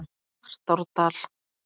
Svartárdal